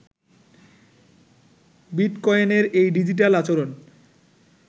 বিটকয়েনের এই ডিজিটাল আচরণ